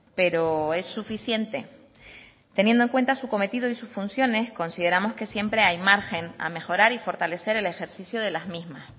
pero es suficiente teniendo en cuenta su cometido y sus funciones consideramos que siempre hay margen a mejorar y fortalecer el ejercicio de las mismas